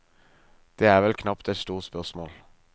Det er vel knapt et stort spørsmål.